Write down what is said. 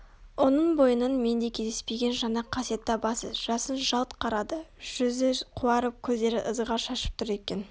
оның бойынан менде кездеспеген жаңа қасиет табасыз жасын жалт қарады жүзі қуарып көздері ызғар шашып тұр екен